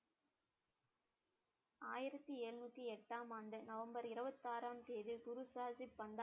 ஆயிரத்தி எழுநூத்தி எட்டாம் ஆண்டு நவம்பர் இருபத்தி ஆறாம் தேதி குரு சாதித்